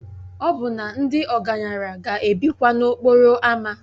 Ọbụna ndị ọgaranya ga-ebikwa n'okporo ámá